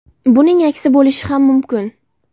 Buning aksi bo‘lishi ham mumkin.